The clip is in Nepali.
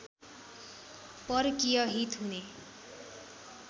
परकीय हित हुने